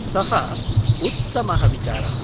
सः उत्तमः विचारः।